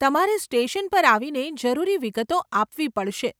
તમારે સ્ટેશન પર આવીને જરૂરી વિગતો આપવી પડશે.